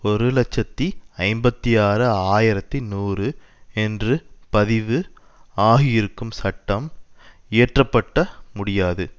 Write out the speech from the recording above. ஒரு இலட்சத்தி ஐம்பத்தி ஆறு ஆயிரத்தி நூறு என்று பதிவு ஆகியிருக்கும் சட்டம் இயற்ற பட்ட முடியாது